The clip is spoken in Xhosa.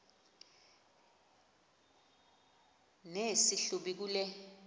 nesi hlubi kule